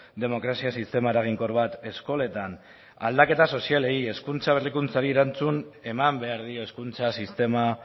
demokrazia sistema eraginkor bat eskoletan aldaketa sozialei hezkuntza berrikuntzari erantzuna eman behar dio hezkuntza sistema